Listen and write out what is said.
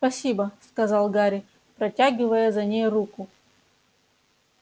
спасибо сказал гарри протягивая за ней руку